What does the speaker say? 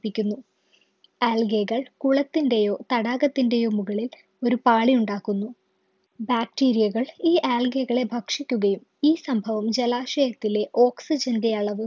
പിക്കുന്നു algae കൾ കുളത്തിൻ്റെയോ തടാകത്തിൻ്റെയോ മുകളിൽ ഒരു പാളി ഉണ്ടാക്കുന്നു bacteria കൾ ഈ algae കളെ ഭക്ഷിക്കുകയും ഈ സംഭവം ജലാശയത്തിലെ oxygen ൻ്റെ അളവ്